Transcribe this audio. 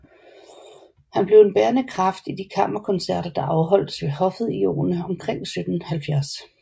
Han blev en bærende kraft i de kammerkoncerter der afholdtes ved hoffet i årene omkring 1770